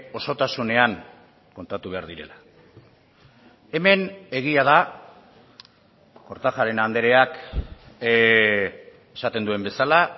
osotasunean kontatu behar direla hemen egia da kortajarena andreak esaten duen bezala